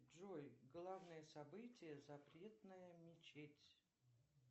джой главное событие запретная мечеть